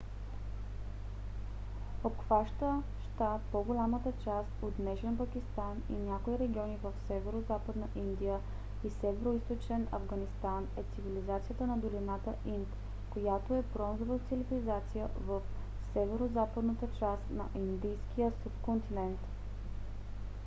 обхващаща по-голямата част от днешен пакистан и някои региони в северозападна индия и североизточен афганистан е цивилизацията на долината инд която е бронзова цивилизация в северозападната част на индийския субконтинент